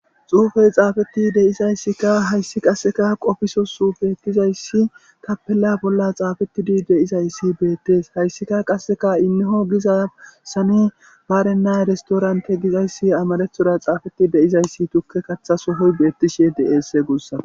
Xuufey xaafetti deizayssika hayssi qasseka qofiso su beettizayssi tappella bolla xaafettidi deizayssi beettees hayssika qasseka inneho gizasani baarenna restorante gizayssi amarethoda xaafeti deyizayssi tukke katha sohoy beettishe de7eesse guussa